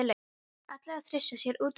Ætlar að þrýsta sér út um nefið.